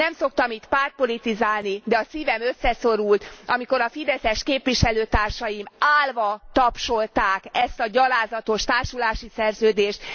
Nem szoktam itt pártpolitizálni, de a szívem összeszorult, amikor a fideszes képviselőtársaim állva tapsolták ezt a gyalázatos társulási szerződést.